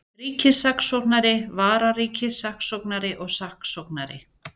Ríkissaksóknari, vararíkissaksóknari og saksóknarar.